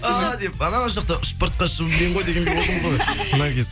ааа деп ана жақта ұшып бара жатқан шыбын мен ғой дегендей болдың ғой наргиз